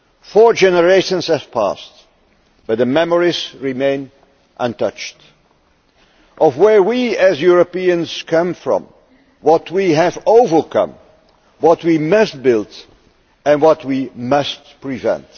Four generations have passed, but the memories remain untouched of where we, as Europeans, come from, of what we have overcome, what we must build, and what we must prevent.